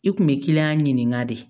I kun bɛ kiliyan ɲininka de